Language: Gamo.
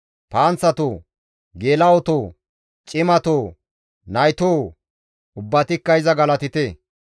Panththatoo, geela7otoo, cimatoo, naytoo! Ubbatikka iza galatite.